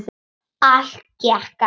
Allt gekk eftir.